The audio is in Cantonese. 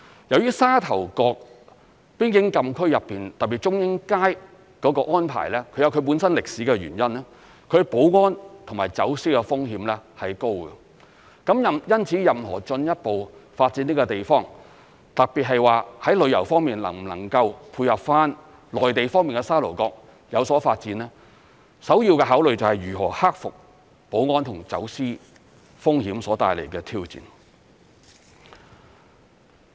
由於沙頭角邊境禁區內，特別是中英街的安排，它有其本身歷史的原因，它的保安和走私風險是高的，因此任何進一步發展這個地方，特別是在旅遊方面能否配合內地方面而有所發展，首要的考慮就是如何克服保安和走私風險所帶來的挑戰。